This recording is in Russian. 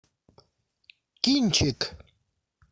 кинчик